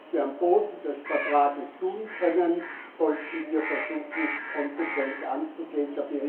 Was wir auf dem Boden des Vertrags tun können, sollten wir versuchen konsequent anzugehen.